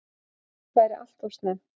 Slíkt væri alltof snemmt